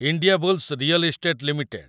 Indiabulls real estate limited